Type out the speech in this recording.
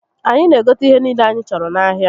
Anyi n'egote ihe niile anyi choro n'ahia